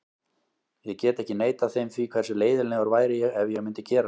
Ég get ekki neitað þeim því, hversu leiðinlegur væri ég ef ég myndi gera slíkt?